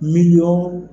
Miliyɔn